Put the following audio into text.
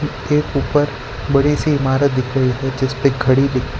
के ऊपर बड़ी सी इमारत दिख रही है जिस पे घड़ी दिख --